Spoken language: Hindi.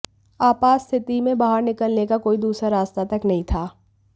आपात स्थिति में बाहर निकलने का कोई दूसरा रास्ता तक नहीं था